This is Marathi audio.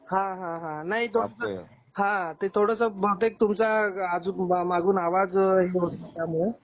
हां हां हां नाही तो फाटत आहे हां ते थोडस बहुतेक तुमच्या आजू मागून आवाज हे होत होता मुळे